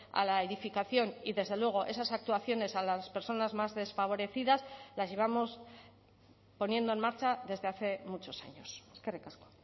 a la edificación y desde luego esas actuaciones a las personas más desfavorecidas las llevamos poniendo en marcha desde hace muchos años eskerrik asko